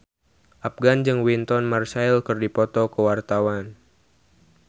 Afgan jeung Wynton Marsalis keur dipoto ku wartawan